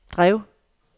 drev